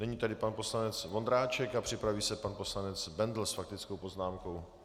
Nyní tedy pan poslanec Vondráček a připraví se pan poslanec Bendl s faktickou poznámkou.